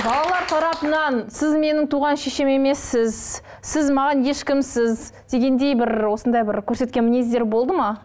балалар тарапынан сіз менің туған шешем емессіз сіз маған ешкімсіз дегендей бір осындай бір көрсеткен мінездері болды ма